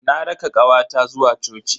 Na raka kawata zuwa coci.